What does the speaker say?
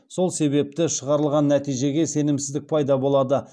сол себепті шығарылған нәтижеге сенімсіздік пайда болады